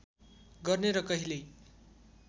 गर्ने र कहिल्यै